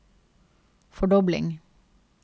fordobling